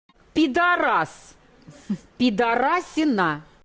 пидорас пидорасина